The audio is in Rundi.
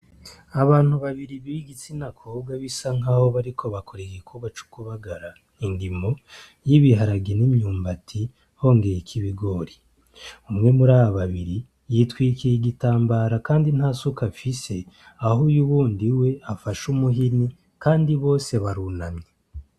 Abantu babiri b'igitsina kobwa bariko bakora igikorwa co kubagara indimo y'ibiharage n'imyumbati, hongeyeko ibigori. Umwe muri aba babiri yitwikiriye igitambara kandi nta suka afise, aho uyundi we afashe umuhini, kandi bose barunamye.